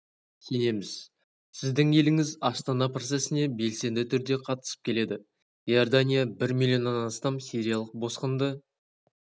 сенеміз сіздің еліңіз астана процесіне белсенді түрде қатысып келеді иордания бір миллионнан астам сириялық босқынды